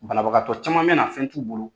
Banabagatɔ caman me na fɛn t'u bolo.